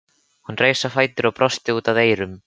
Hún reis á fætur og brosti út að eyrum.